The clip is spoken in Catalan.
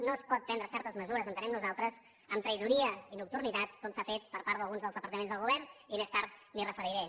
no es poden prendre certes mesures ho entenem nosaltres amb traïdoria i nocturnitat com s’ha fet per part d’alguns dels departaments del govern i més tard m’hi referiré